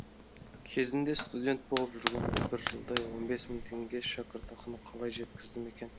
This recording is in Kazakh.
кезінде студент болып жүргенімде бір жылдай он бес мың теңге шәкіртақыны қалай жеткіздім екен